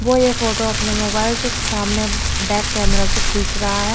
वो यह फोटो अपने मोबाइल से सामने बैक कैमरा से खींच रहा है।